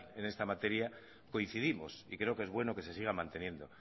en esta materia coincidimos y creo que es bueno que se siga manteniendo